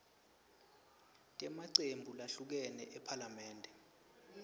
temacembu lahlukene ephalamende